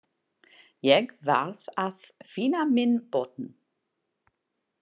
Ég varð að finna minn botn.